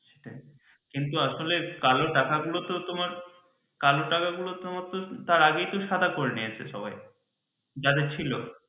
কিন্তু আসলে কালো টাকাগুলো তো তোমার কালো টাকাগুলো তোমার তো তার আগেই সাবার করে নিয়েছে সবাই যাদের ছিল